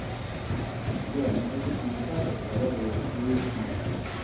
сбер на каких языках разговаривает уилл смит